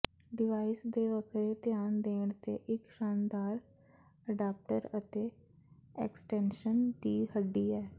device ਤੇ ਵੱਖਰੇ ਧਿਆਨ ਦੇਣ ਤੇ ਇੱਕ ਸ਼ਾਨਦਾਰ ਅਡਾਪਟਰ ਅਤੇ ਐਕਸਟੈਨਸ਼ਨ ਦੀ ਹੱਡੀ ਹੈ